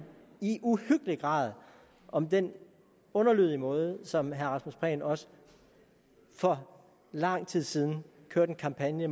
i uhyggelig grad om den underlødige måde som herre rasmus prehn også for lang tid siden kørte en kampagne